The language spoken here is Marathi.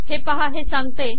हे पाहा हे सांगते